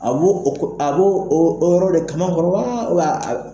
A b'o o yɔrɔ de kama kɔrɔ wa a bɛ.